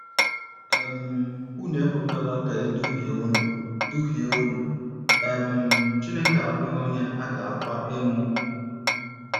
um “ Unu ekwela ka e duhie unu duhie unu: um Chineke abụghị onye a ga - akwa emo um.